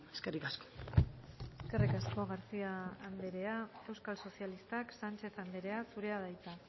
eskerrik asko eskerrik asko garcía anderea euskal sozialistak sánchez anderea zurea da hitza